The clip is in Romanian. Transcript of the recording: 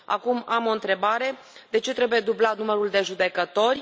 Acum, am o întrebare de ce trebuie dublat numărul de judecători?